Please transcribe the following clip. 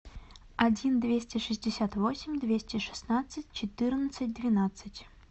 один двести шестьдесят восемь двести шестнадцать четырнадцать двенадцать